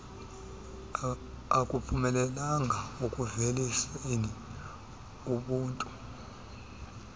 akuphumelelanga ekuuveliseni ubuntu